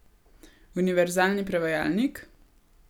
Univerzalni prevajalnik?